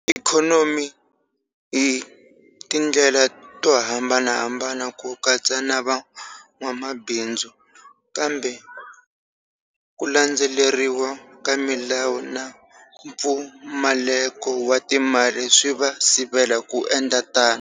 Ikhonomi hi tindlela to hambanahambana, ku katsa na van'wamabindzu, kambe ku landzeleriwa ka milawu na mpfumaleko wa timali swi va sivela ku endla tano.